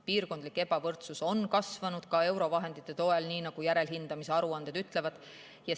Piirkondlik ebavõrdsus on kasvanud ka eurovahendite toel, nii nagu järelhindamise aruanded ütlevad.